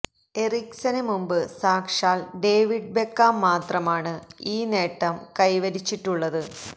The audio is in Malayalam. എറിക്സന് മുമ്പ് സാക്ഷാൽ ഡേവിഡ് ബെക്കാം മാത്രമാണ് ഈ നേട്ടം കൈവരിച്ചിട്ടുള്ളത്